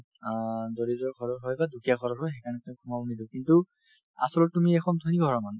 অ, দৰিদ্ৰ ঘৰৰ হয় বা দুখীয়া ঘৰৰ হয় সেইকাৰণে তেওঁক সোমাব নিদিওঁ কিন্তু আচলতে তুমি এখন ধনী ঘৰৰ মানুহ